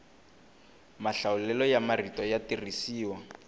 mahlawulelo ya marito ya tirhisiwa